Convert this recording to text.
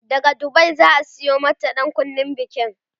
daga Dubai zaa Sayo mata ɗankunnen bikinta